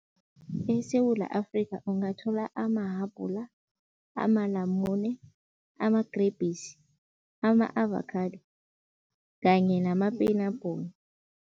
ESewula Afrika ungathola amahabhula, amalamune, amagrebhisi, ama-avakhado kanye namapenabhula.